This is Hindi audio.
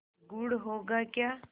गुड़ होगा क्या